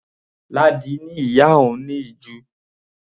Ládi ni ìyá òun ní ìju.